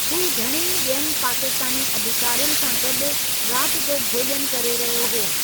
हू घणई बि॒यनि पाकिस्तानी अधिकारियुनि सां गॾु राति जो भोज॒नु करे रहियो हो।